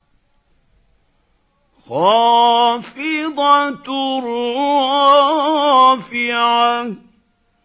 خَافِضَةٌ رَّافِعَةٌ